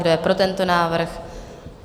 Kdo je pro tento návrh?